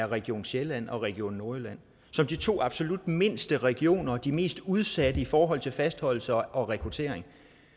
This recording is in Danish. region sjælland og region nordjylland som de to absolut mindste regioner og de mest udsatte i forhold til fastholdelse og rekruttering